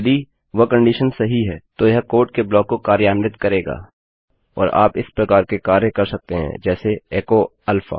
यदि वह कंडीशन सही है तो यह कोड के ब्लाक को कार्यान्वित करेगा और आप इस प्रकार के कार्य कर सकते हैं जैसे एचो अल्फा